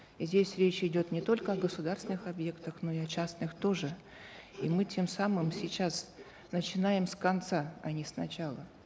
и здесь речь идет не только о государственных объектах но и о частных тоже и мы тем самым сейчас начинаем с конца а не с начала